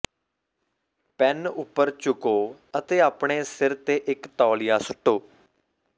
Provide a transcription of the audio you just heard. PAN ਉਪਰ ਝੁਕੋ ਅਤੇ ਆਪਣੇ ਸਿਰ ਤੇ ਇੱਕ ਤੌਲੀਆ ਸੁੱਟੋ